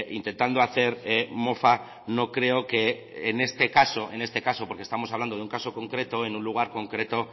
intentando hacer mofa no creo que en este caso en este caso porque estamos hablando de un caso concreto en un lugar concreto